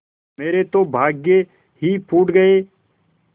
मेरे तो भाग्य ही फूट गये